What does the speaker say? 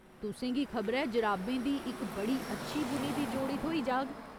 तु'सें गी खबरै जराबें दी इक बड़ी अच्छी बुनी दी जोड़ी थ्होई जाह्‌‌ग।